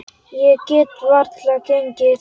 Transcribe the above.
Ég get varla gengið.